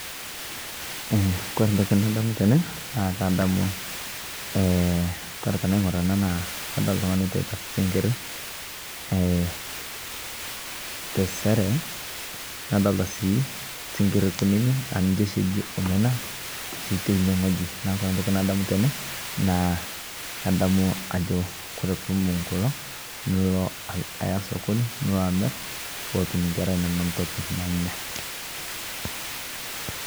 Eeh kore ntokii nadamu tene naa kadamu eeh kore tenaing'ur ena naa kadolita ltung'ani eteitaa sing'iri eeh te seeree nadolita sii siring'iri kunini aa ninchee shii ejii omena shii tene ng'ojii. Naa kore ntokii nadamu tene naa kadamu ajoo kore puu ibung'uu kuloo niloo eyaa sokonii niloo amiir poo otuum nkeraa enono ntokii nanyaa.